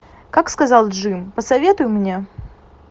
как сказал джим посоветуй мне